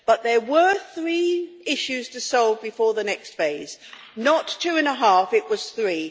But there were three issues to solve before the next phase not two and a half, but three.